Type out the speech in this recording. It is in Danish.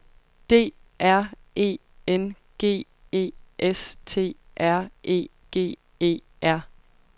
D R E N G E S T R E G E R